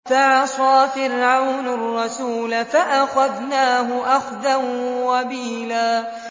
فَعَصَىٰ فِرْعَوْنُ الرَّسُولَ فَأَخَذْنَاهُ أَخْذًا وَبِيلًا